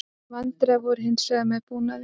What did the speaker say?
Vandræði voru hins vegar með búnaðinn